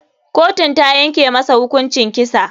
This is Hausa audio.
Kotun tayanke masa hukuncin kisa.